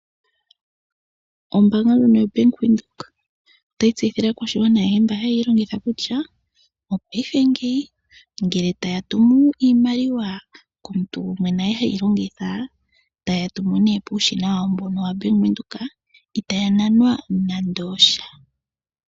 Ombanga ndyono yobank windhoek otayi tseyithile aakwashigwana ayehe mba hayeyi longitha kutya payife ngeyi ngele taya tumu iimaliwa komuntu gumwe naye heyi longitha taya tumu ouushina wawo mbono wabank windhoek itaya nanwa nande osha.